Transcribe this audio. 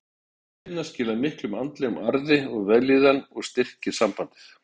En sú vinna skilar miklum andlegum arði og vellíðan og styrkir sambandið.